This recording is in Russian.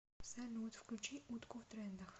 салют включи утку в трендах